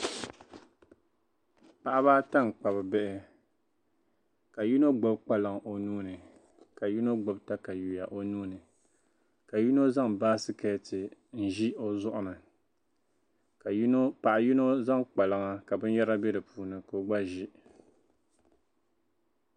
Paɣiba ata n Kpab bihi ka yinɔ gbubi kpalaŋ onuuni ka yinɔ taka yuya onuuni ka yinɔ. zaŋ basket nzi ozuɣuni ka paɣi yinɔ zaŋ kpalaŋa ka bin yara be di puuni. ka o gba zi